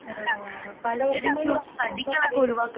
ആഹ്ഹ പഴവര്ഗങ്ങള് വരുമ്പോ എത്താണ്